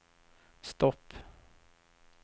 stopp